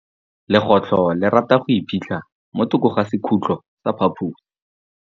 Legôtlô le rata go iphitlha mo thokô ga sekhutlo sa phaposi.